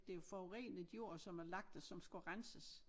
Det jo forurenet jord som er lagt der som skulle renses